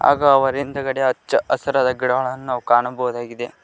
ಹಾಗು ಅವರ ಹಿಂದ್ಗಡೆ ಹಚ್ಚಹಸ್ರಾದ ಗಿಡಗಳನ್ನು ಕಾಣಬಹುದಾಗಿದೆ.